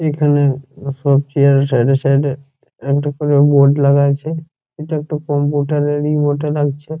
এখানে সব চেয়ার -এর সাইড -এ সাইড -এ একটা করে বোর্ড লাগা আছে। এটা একটা কম্পিউটার -এর এ বটে লাগছে ।